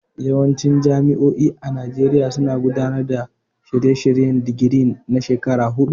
Yawancin jami'o'i a Najeriya suna gudanar da shirye-shiryen digiri na shekaru huɗu.